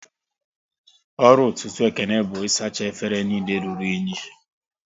Ọrụ ọtụtụ Ekene bụ isacha efere niile rụrụ unyi